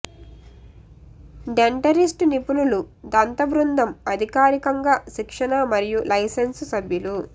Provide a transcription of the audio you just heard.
dentist నిపుణులు దంత బృందం అధికారికంగా శిక్షణ మరియు లైసెన్స్ సభ్యులు